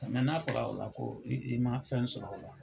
n'a fɔra o la ko i i ma fɛn sɔrɔ o la.